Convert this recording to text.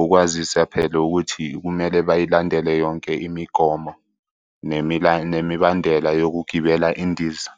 ukwazisa phela ukuthi kumele bayilandele yonke imigomo nemibandela yokugibela indiza.